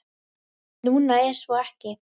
Núna er svo ekki.